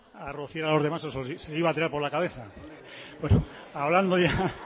iba a rociar a los demás o se lo iba a tirar por la cabeza